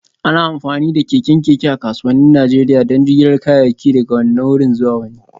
Ana amfani da keken keke a kasuwannin Najeriya don jigilar kayayyaki daga wannan wuri zuwa wani